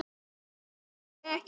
Nei, passar ekki enn!